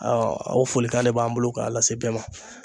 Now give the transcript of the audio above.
o folikan de b'an bolo k'a lase bɛɛ ma.